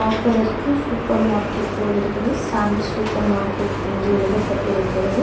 பார்ப்பதற்கு சூப்பர்மார்க்கெட் போல இருக்குது ஷாம்ஸ் சூப்பர்மார்க்கெட் என்று எழுதப்பட்டிருக்கிறது.